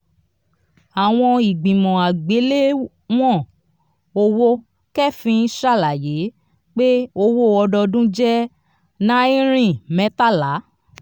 àwọn ìgbìmọ̀ àgbéléwọ̀n owo keefin ṣàlàyé pé owó ọdọọdún jẹ́ náirìn mẹ́tàlá.